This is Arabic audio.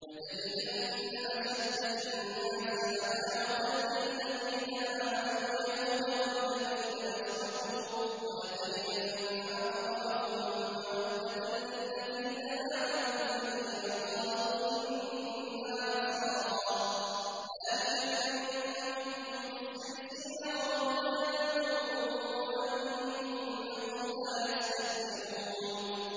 ۞ لَتَجِدَنَّ أَشَدَّ النَّاسِ عَدَاوَةً لِّلَّذِينَ آمَنُوا الْيَهُودَ وَالَّذِينَ أَشْرَكُوا ۖ وَلَتَجِدَنَّ أَقْرَبَهُم مَّوَدَّةً لِّلَّذِينَ آمَنُوا الَّذِينَ قَالُوا إِنَّا نَصَارَىٰ ۚ ذَٰلِكَ بِأَنَّ مِنْهُمْ قِسِّيسِينَ وَرُهْبَانًا وَأَنَّهُمْ لَا يَسْتَكْبِرُونَ